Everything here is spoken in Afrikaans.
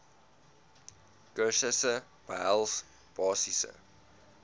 kursusse behels basiese